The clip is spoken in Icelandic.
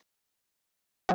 Svar þitt var.